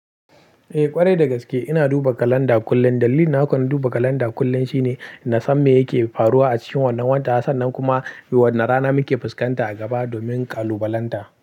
Eh ƙwarai dagaske ina duba kalanda kullun. Dalilin hakona duba kalanda kullum shine ina san me yake faruwa a cikin wannan wata, sannan kuma wannan rana muke fuskanta a gaba domin kalubalanta.